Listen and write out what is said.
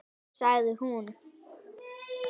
Sagði hún.